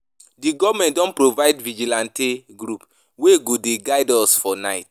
The government don provide vigilante group wey go dey guide us for night